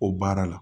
O baara la